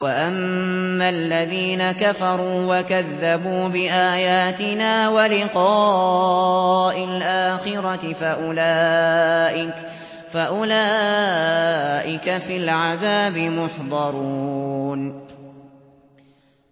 وَأَمَّا الَّذِينَ كَفَرُوا وَكَذَّبُوا بِآيَاتِنَا وَلِقَاءِ الْآخِرَةِ فَأُولَٰئِكَ فِي الْعَذَابِ مُحْضَرُونَ